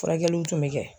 Furakɛliw tun bɛ kɛ